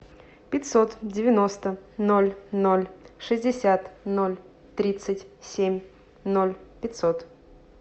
пятьсот девяносто ноль ноль шестьдесят ноль тридцать семь ноль пятьсот